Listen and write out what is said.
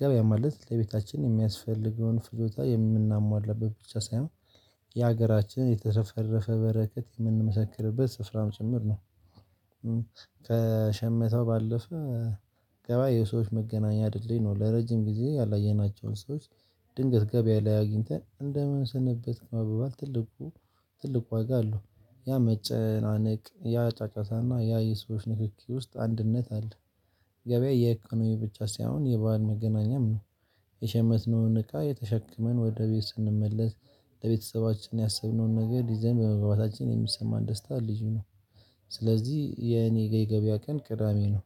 ገበያ ማለት ለቤታችን የሚያስፈልገውን ፍጆታ የምናሟላበት ብቻ ሳይሆን የሀገራችን የተሰፈረፈ በረከት ምንመሰክርበት ስፍራም ጭምር ነው። ከሸመተው ባለፈ። ገባያ የሰዎች መገናኛ ድልድይ ነው ለረጅም ጊዜ ያላየናቸውን ሰዎች። ድንገት ገበያ ላይ አግኝተን እንደምን ሰነበት መበባል ትልቁ ትልቁ ዋጋ አለው። ያ መጨናነቅ ያ ጫጫታና ያ የሰዎች ንክኪ ውስጥ አንድነት አለ። ገበያ የኢኮኖሚ ብቻ ሳይሆን የባህል መገናኛም ነው። የሸመትነውን እቃ የተሸክመን ወደ ቤት ስንመለስ ለቤተሰባችን ያሰብነውን ነገር ይዘን በመግባታችን የሚሰማን ደስታ ልዩ ነው። ስለዚህ የኔ ገበያ ቀን ቅዳሜ ነው።